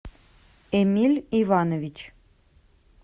эмиль иванович